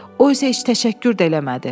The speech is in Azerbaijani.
O isə heç təşəkkür də eləmədi.